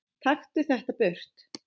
Taktu þetta burt!